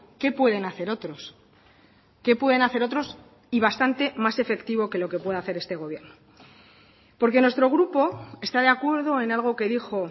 qué pueden hacer otros qué pueden hacer otros y bastante más efectivo que lo que puede hacer este gobierno porque nuestro grupo está de acuerdo en algo que dijo